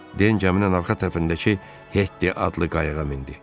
Den gəminin arxa tərəfindəki Hetti adlı qayıqa mindi.